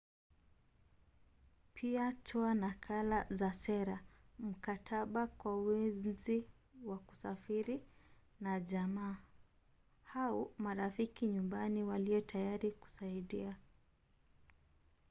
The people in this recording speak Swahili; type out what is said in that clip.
pia toa nakala za sera/mkataba kwa wenzi wa kusafiri na jamaa au marafiki nyumbani walio tayari kusaidia